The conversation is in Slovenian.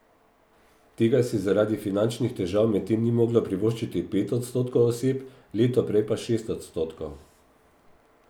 Tega si zaradi finančnih težav medtem ni moglo privoščiti pet odstotkov oseb, leto prej pa šest odstotkov.